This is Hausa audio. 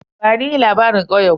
Bani labarin ƙauyen ku?